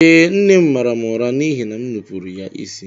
Eee, nne m mara m ụra n’ihi na m nupụrụ ya isi